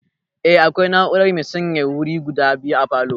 Eh, akwai na'urar mai sanyaya wuri guda biyu a falow